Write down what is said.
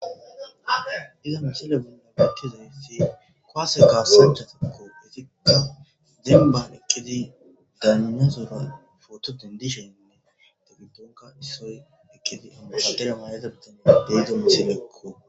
iza misile binna pakkizanifi koase kaasechasako itikka demban eqqidi daaninazora footo dendishoninne degidonka issoy eqqidi amashadere maayeza bitane deiza misileekko